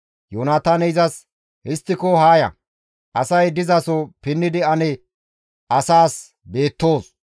Yoonataaney izas, «Histtiko haa ya; asay dizaso pinnidi ane asaas beettoos.